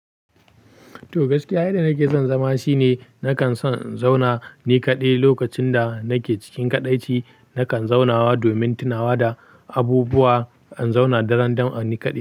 Toh gaskiya, yadda nake son zama shine nakan son in zauna ni kaɗai. Lokacin da nake cikin kaɗaici, nakan zaunawa domin tunawa da abubuwa. In zauna daran dam in ni kaɗai.